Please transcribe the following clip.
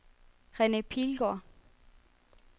Rene Pilgaard